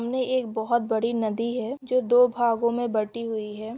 सामने एक बहोत बड़ी नदी है जो दो भागों में बटी हुई है।